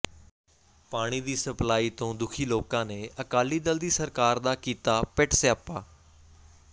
ਪਾਣੀ ਦੀ ਸਪਲਾਈ ਤੋਂ ਦੁੱਖੀ ਲੋਕਾਂ ਨੇ ਅਕਾਲੀ ਦਲ ਦੀ ਸਰਕਾਰ ਦਾ ਕੀਤਾ ਪਿੱਟ ਸਿਆਪਾ